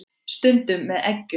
Stundum með eggjum.